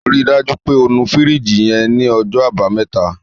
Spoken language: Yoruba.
Ri dájú pé o nu fìríjìì yẹn ní ọjọ́ àbámẹ́ta.